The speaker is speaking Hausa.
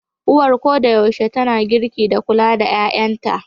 Uwar koda yaushe tana girki da kula da 'ƴa'ƴanta.